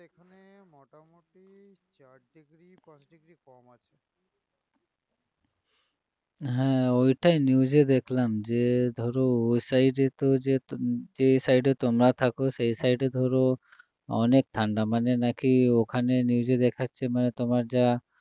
হ্যাঁ ওটাই news এ দেখলাম যে ধরো ওই side এ তো যে side এ তোমরা থাকো সে side এ ধরো অনাক ঠান্ডা মানে নাকি ওখানে news এ দেখাচ্ছে মানে তোমার যা